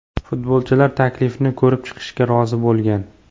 Futbolchilar taklifni ko‘rib chiqishga rozi bo‘lgan.